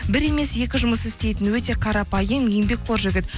бір емес екі жұмыс істейтін өте қарапайым еңбекқор жігіт